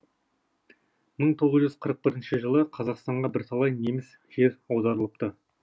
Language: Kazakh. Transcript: мың тоғыз жүз қырық бірінші жылы қазақстанға бірталай неміс жер аударылыпты